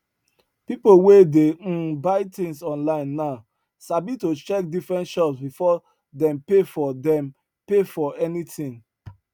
people wey dey um buy things online now sabi to check different shops before dem pay for dem pay for anything